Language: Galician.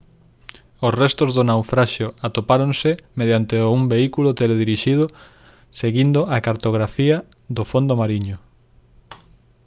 os restos do naufraxio atopáronse mediante un vehículo teledirixido seguindo a cartografía do fondo mariño